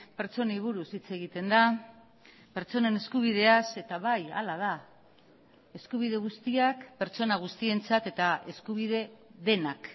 pertsonei buruz hitz egiten da pertsonen eskubideaz eta bai hala da eskubide guztiak pertsona guztientzat eta eskubide denak